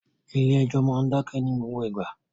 Ilé ẹ́jọ́ máa ń dákẹ́ ní gbogbo ìgbà